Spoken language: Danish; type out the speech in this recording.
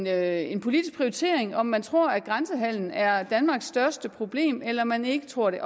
er en politisk prioritering om man tror at grænsehandelen er danmarks største problem eller man ikke tror det